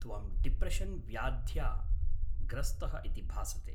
त्वम् डिप्रेशन् व्याध्या ग्रस्तः इति भासते।